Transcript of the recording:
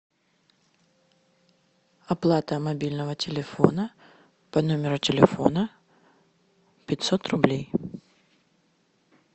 оплата мобильного телефона по номеру телефона пятьсот рублей